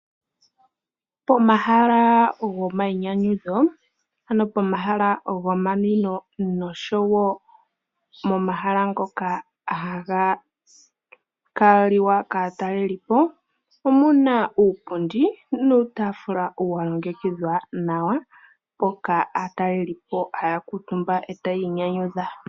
Pomahala gomayinyanyudho ano pomahala gomanwino noshowo momahala ngoka haga kaliwa kaatalelipo omuna uupundi nuutafula wa longekidhwa nawa mpoka aatalelipo haya kuutumba etayi inyanyudha.